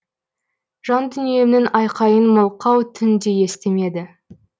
жандүниемнің айқайын мылқау түн де естімеді